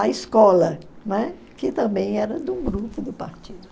a escola, né, que também era de um grupo do partido.